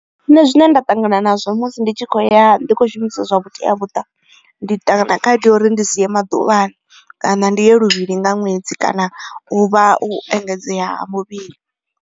Nṋe zwine nda ṱangana nazwo musi ndi tshi kho ya ndi kho shumisa zwa vhutea muṱa ndi kha itea khaedu uri ndi si ye maḓuvhani kana ndi luvhili nga ṅwedzi kana u vha u engedzea ha muvhili.